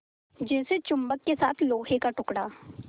जैसे चुम्बक के साथ लोहे का टुकड़ा